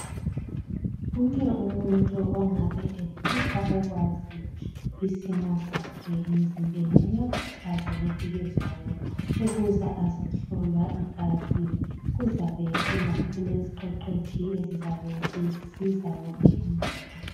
Wonke umuntu ongabe efisa ukwazi isimo sakhe emzimbeni uyakhuthazwa ngeviki ezayo ukuza azejhlolwa igazi kuzabe kuleziqeqetshi ezizabe zisiza wonke umuntu.